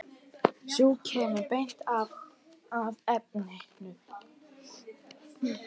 Sú kemur beint að efninu!